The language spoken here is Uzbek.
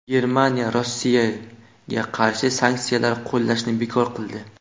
Germaniya Rossiyaga qarshi sanksiyalar qo‘llashni bekor qildi.